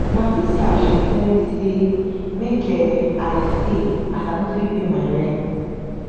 na dis house she tell me sey make um i stay as i no fit pay my rent.